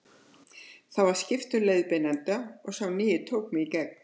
Þá var skipt um leiðbeinanda og sá nýi tók mig í gegn.